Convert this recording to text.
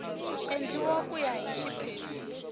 endliwa ku ya hi xiphemu